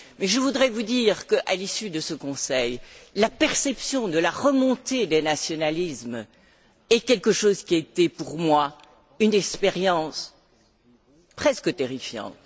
Mais je voudrais vous dire qu'à l'issue de ce Conseil, la perception de la remontée des nationalismes est quelque chose qui a été pour moi une expérience presque terrifiante.